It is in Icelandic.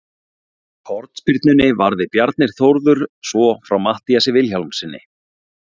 Úr hornspyrnunni varði Bjarni Þórður svo frá Matthíasi Vilhjálmssyni.